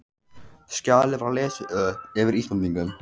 Skjalið var lesið upp yfir Íslendingunum.